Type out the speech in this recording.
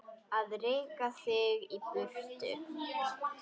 Að reka þig í burtu!